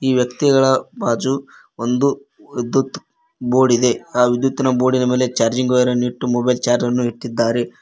ವ್ಯಕ್ತಿಗಳ ಬಾಜು ಒಂದು ವಿದ್ಯುತ್ ಬೋರ್ಡ್ ಇದೆ ಆ ವಿದ್ಯುತಿನ ಬೋರ್ಡಿ ನ ಮೇಲೆ ಚಾರ್ಜಿಂಗ್ ವೈರ್ ಇಟ್ಟು ಮೊಬೈಲ್ ಚಾರ್ಜ್ ಅನ್ನು ಇಟ್ಟಿದ್ದಾರೆ.